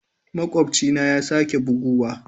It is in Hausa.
Makwabcina ya sake buguwa.